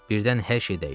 Birdən hər şey dəyişdi.